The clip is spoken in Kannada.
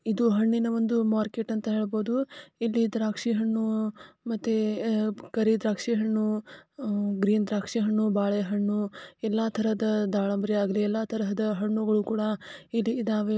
ಇದು ಹಣ್ಣಿನ ಒಂದು ಮಾರ್ಕೆಟ್ ಅಂತ ಹೇಳಬಹುದು. ಇಲ್ಲಿ ದ್ರಾಕ್ಷಿ ಹಣ್ಣು ಮತ್ತೆ ಕರಿ ದ್ರಾಕ್ಷಿ ಹಣ್ಣು ಗ್ರೀನ್ ದ್ರಾಕ್ಷಿ ಹಣ್ಣು. ಬಾಳೆ ಹಣ್ಣು ತರಹದ ಎಲ್ಲಾ ದಾಲಬರಿ ಹಾಗು ಎಲ್ಲಾ ತರಹದ ಹಣ್ಣುಗಳು ಹಣ್ಣುಗಳು ಕೂಡ ಇಲ್ಲಿ ಇದ್ದಾವೆ.